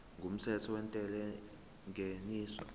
kumthetho wentela yengeniso